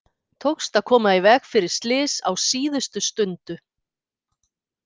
Tókst að koma í veg fyrir slys á síðustu stundu.